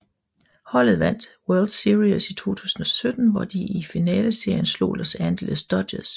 Holdet vandt World Series i 2017 hvor de i finaleserien slog Los Angeles Dodgers